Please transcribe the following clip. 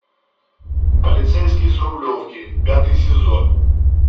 полицейский с рублевки пятый сезон